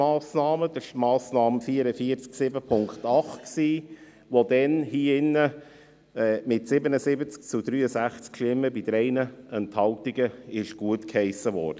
Es war die Massnahme 44.7.8, die damals mit 77 zu 63 Stimmen bei 3 Enthaltungen gutgeheissen wurde.